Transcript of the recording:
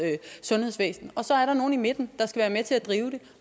sundhedsvæsen og så er der nogle i midten der skal være med til at drive det